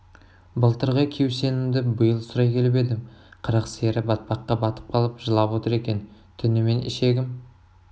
былтырғы кеусенімді биыл сұрай келіп едім қырық сиыры батпаққа батып қалып жылап отыр екен түнімен ішегім